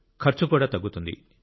ఖర్చు కూడా తగ్గుతుంది